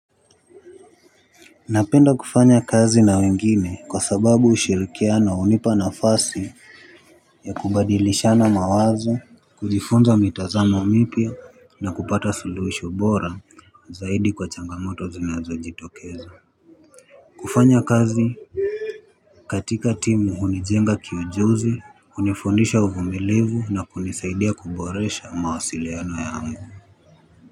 Napenda kufanya kazi na wengine kwa sababu ushirikiano hunipa nafasi ya kubadilishana mawazo kujifunza mitazamo mipya na kupata siluhisho bora zaidi kwa changamoto zinazo jitokeza. Kufanya kazi katika timu hunijenga kiujuzi hunifundisha uvumilivu na kunisaidia kuboresha mawasiliano yangu.